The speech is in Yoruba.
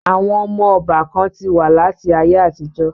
Àwọn ọmọ ọbà kan ti wà láti ayé àtijọ́